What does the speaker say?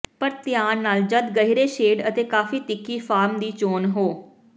ਪਰ ਧਿਆਨ ਨਾਲ ਜਦ ਗਹਿਰੇ ਸ਼ੇਡ ਅਤੇ ਕਾਫ਼ੀ ਤਿੱਖੀ ਫਾਰਮ ਦੀ ਚੋਣ ਹੋ